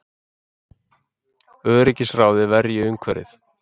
Öryggisráðið verji umhverfið